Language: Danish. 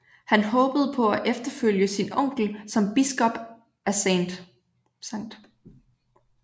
Han håbede på at efterfølge sin onkel som biskop af St